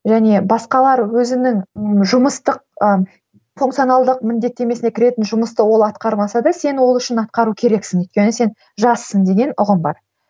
және басқалары өзінің ы жұмыстық ы функционалдық міндеттемесіне кіретін жұмысты ол атқармаса да сен ол үшін атқару керексің өйткені сен жассың деген ұғым бар